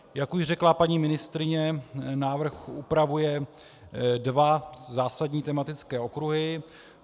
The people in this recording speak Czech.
Jak už řekla paní ministryně, návrh upravuje dva zásadní tematické okruhy.